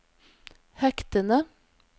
hektene